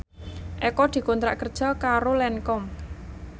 Eko dikontrak kerja karo Lancome